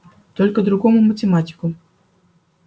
только другому математику